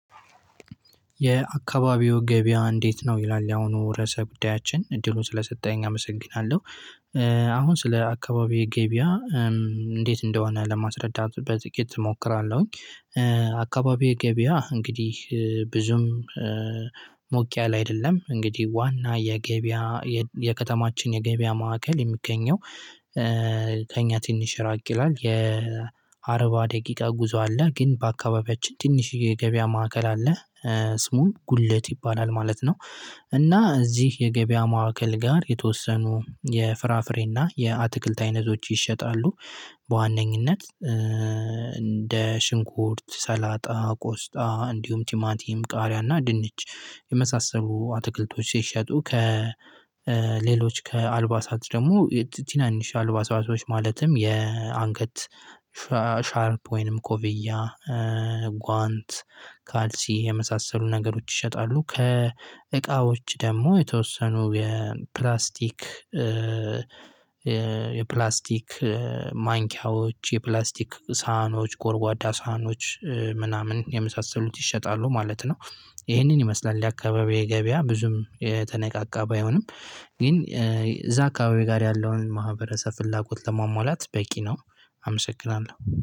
የአካባቢው ገበያ እንዴት ነው ይላል ያሁኑ ርዕሰ ጉዳያችን እድሉን ስለሰጠኸኝ አመሰግናለሁ። አሁን ስለ አካባቢዬ ገበያ? እንዴት እንደሆነ ለማስረዳት በጥቂት እሞክራለሁኝ። የአካባቢዬ ገበያ እንግዲህ ብዙም ሞቅ ያለ አይደለም። እንግዲህ ዋና የገበያ የከተማችን የገበያ ማዕከል የሚገኘው። ከእኛ ትንሽ ራቅ ይላል የአርባ ደቂቃ ጉዞ አለ። ግን በአካባቢያችን ትንሽየ የገበያ ማዕከል አለ። ስሙም ጉለት ይባላል ማለት ነው። እና እዚህ የገበያ ማዕከል ጋር የተወሰኑ የፍራፍሬና የአትክልት አይነቶች ይሸጣሉ። በዋነኝነት እንደ ሽንኩርት ሰላጣ ቆስጣ እንዲሁም ቲማቲም ቃሪያና ድንች የመሳሰሉ አትክልቶች ሲሸጡ ከሌሎች ከአልባሳት ደግሞ ቲናንሽ አልባሳቶች ማለትም የአንገት ሻ ሻርፕ ወይንም ኮፍያ ጓንት ካልሲ የመሳሰሉ ነገሮች ይሸጣሉ። ከእቃዎች ደግሞ የተወሰኑ የፕላስቲክ ማንኪያዎች የፕላስቲክ ሳህኖች ጎርጓዳ ሳህኖች ምናምን የመሳሰሉት ይሸጣሉ ማለት ነው። ይሄንን ይመስላል የአካባቢዬ ገበያ ብዙም የተነቃቃ ባይሆንም ግን እዛ አካባቢ ጋር ያለውን ማህበረሰብ ፍላጎት ለማሟላት በቂ ነው። አመሰግናለሁ